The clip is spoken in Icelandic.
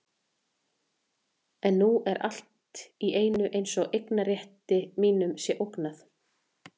En nú er allt í einu eins og eignarrétti mínum sé ógnað.